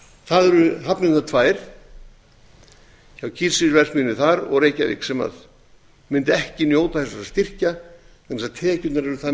það eru hafnirnar tvær hjá kísilverksmiðjunni þar og reykjavík sem mundu ekki njóta þessara styrkja vegna þess að tekjurnar eru það